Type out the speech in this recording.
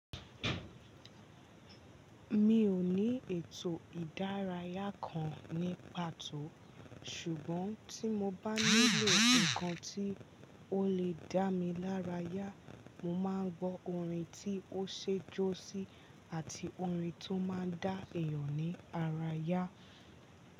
Mi ò ní ètò ìdárayá kan ní pàtó ṣùgbọ́n tí mo bá nílò ǹkan tí ó lè dá mi lárayá, mo máa ń gbọ́ orin tí ó ṣe é jó sí àti orin tó máa ń dá èèyàn ní ara yá.